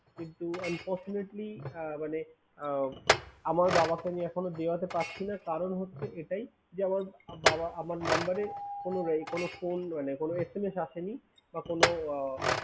কিন্তু unfortunately আহ মানে আহ আমার বাবাকে আমি এখনো দেওয়াতে পারছিনা। কারণ হচ্ছে এটাই যে, আমার বাবা আমার number এ কোনো আহ phone দেয় নাই, কোনো SMS আসেনি বা কোনো আহ